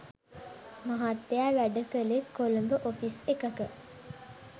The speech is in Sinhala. මහත්තයා වැඩ කළෙත් කොළඹ ඔෆිස් එකක.